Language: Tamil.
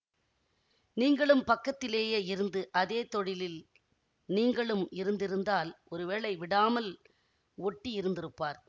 நீங்களும் பக்கத்திலேயே இருந்து அதே தொழிலில் நீங்களும் இருந்திருந்தால் ஒருவேளை விடாமல் ஒட்டி இருந்திருப்பார்